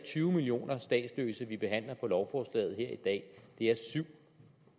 tyve millioner statsløse vi behandler på lovforslaget her i dag det er syv